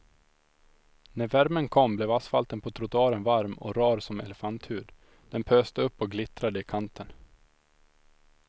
När värmen kom blev asfalten på trottoaren varm och rar som elefanthud, den pöste upp och glittrade i kanten.